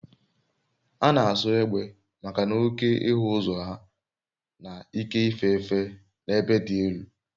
A na-asọ egbe maka na oke ịhụ ụzọ ha na ike ife efe n'ebe dị elu